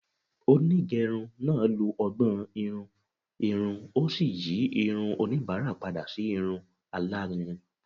Onigerun naa lo ọgbọn-irun irun o si yi irun onibara pada si irun alarinrin